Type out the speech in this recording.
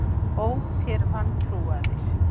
Ó, þér vantrúaðir!